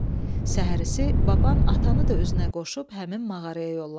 Səhərisi baban atanı da özünə qoşub həmin mağaraya yollandı.